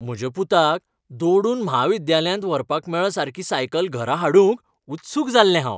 म्हज्या पुताक दोडून म्हाविद्यालयांत व्हरपाक मेळसारकी सायकल घरा हाडूंक उत्सूक जाल्लें हांव.